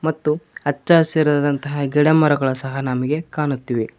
ಮತ್ತು ಅಚ್ಚಹಸಿರಾದಂತಹ ಗಿಡಮರಗಳು ಸಹ ನಮಗೆ ಕಾಣುತ್ತಿವೆ.